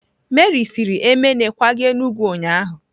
Meri siri Emene kwaga Enugwu ụnyahụ?